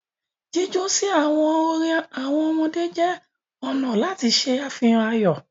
Jíjọ si awọn orin awọn ọmọdé jẹ ọna lati ṣe afihan ayọ.